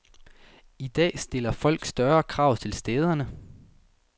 I dag stiller folk større krav til stederne.